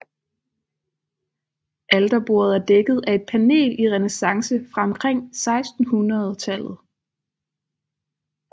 Alterbordet er dækket af et panel i renæssance fra omkring 1600